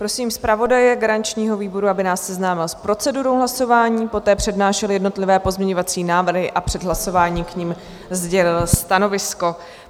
Prosím zpravodaje garančního výboru, aby nás seznámil s procedurou hlasování, poté přednášel jednotlivé pozměňovací návrhy a před hlasováním k nim sdělil stanovisko.